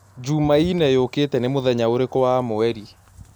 jumaĩne yũkĩĩte nĩ mũthenya ũrĩkũ wa mwerĩ